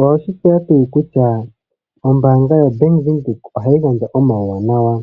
Owe shi tseya tuu kutya ombaanga ya Bank Windhoek oha yi gandja omauwanawa,